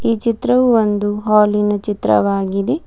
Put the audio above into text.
ಈ ಚಿತ್ರವು ಒಂದು ಹಾಲಿನ ಚಿತ್ರವಾಗಿದೆ.